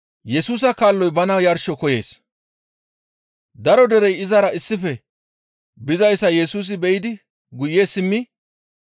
Daro derey izara issife bizayssa Yesusi be7idi guye simmi,